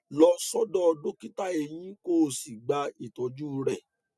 lọ sọdọ dókítà eyín kó o sì gba ìtọjú rẹ